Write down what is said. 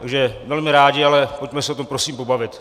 Takže velmi rádi, ale pojďme se o tom prosím pobavit.